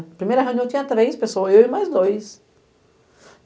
Na primeira reunião eu tinha três pessoas, eu e mais dois.